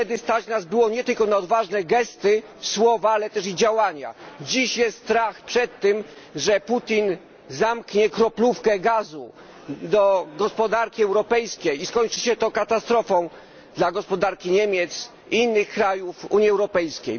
Wtedy stać nas było nie tylko na odważne gesty, słowa, ale też i działania. Dziś jest strach przed tym, że Putin zamknie kroplówkę z gazem przeznaczoną dla gospodarki europejskiej i skończy się to katastrofą dla gospodarki Niemiec i innych krajów Unii Europejskiej.